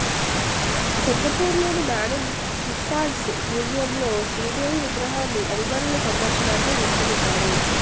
సింగపూర్లోని Madame Tussauds మ్యూజియంలో శ్రీదేవి విగ్రహాన్ని అభిమానుల సందర్శనార్ధం ఉంచనున్నారు